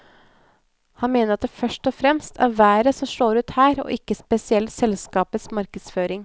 Han mener at det først og fremst er været som slår ut her og ikke spesielt selskapets markedsføring.